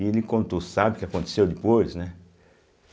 E ele contou, sabe o que aconteceu depois, né?